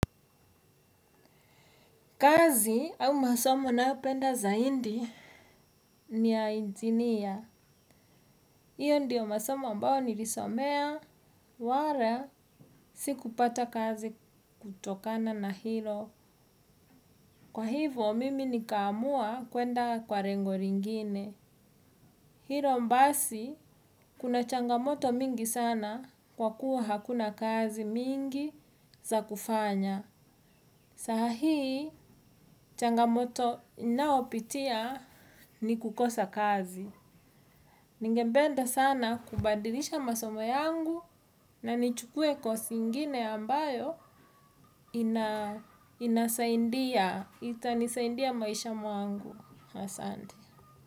Kazi au masomo ninayopenda zaidi ni ya injiniya hiyo ndiyo masomo ambayo nilisomea wala siku pata kazi kutokana na hilo. Kwa hivo, mimi nika amua kuenda kwa rengo lingine. Hilo basi kuna changamoto mingi sana kwa kuwa hakuna kazi mingi za kufanya. Sahii changamoto ninaopitia ni kukosa kazi. Ningependa sana kubadilisha masomo yangu na nichukue kosi ingine ambayo ina inasaidia itanisaidia maisha mwangu. Asante.